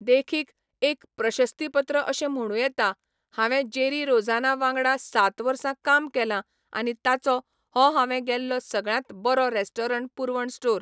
देखीक, एक प्रशस्तीपत्र अशें म्हणूं येता, हांवें जेरी रोझना वांगडा सात वर्सां काम केलां आनी ताचो हो हांवें गेल्लो सगळ्यांत बरो रेस्टॉरंट पुरवण स्टोर!